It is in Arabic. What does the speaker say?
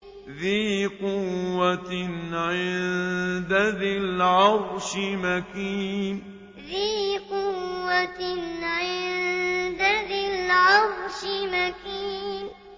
ذِي قُوَّةٍ عِندَ ذِي الْعَرْشِ مَكِينٍ ذِي قُوَّةٍ عِندَ ذِي الْعَرْشِ مَكِينٍ